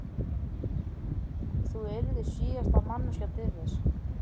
Þú yrðir síðasta manneskjan til þess.